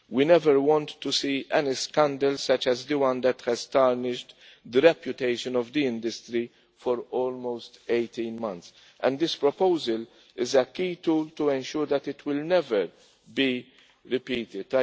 We never again want to see a scandal such as the one which has tarnished the reputation of the industry for almost 18 months and this proposal is a key tool to ensure that it will never be repeated.